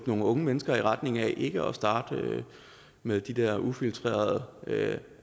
nogle unge mennesker i retning af ikke at starte med de der ufiltrerede